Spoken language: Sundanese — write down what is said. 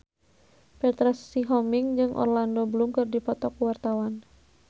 Petra Sihombing jeung Orlando Bloom keur dipoto ku wartawan